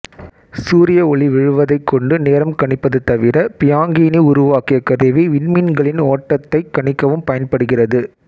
சூரிய ஒளி விழுவதைக் கொண்டு நேரம் கணிப்பது தவிர பியாங்கீனி உருவாக்கிய கருவி விண்மீன்களின் ஓட்டத்தைக் கணிக்கவும் பயன்படுகிறது